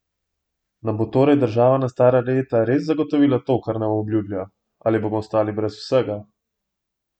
Nam bo torej država na stara leta res zagotovila to, kar nam obljublja, ali bomo ostali brez vsega?